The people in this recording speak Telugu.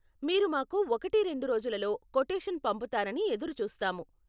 మీరు మాకు ఒకటి రెండు రోజులలో కొటేషన్ పంపుతారని ఎదురుచూస్తాము.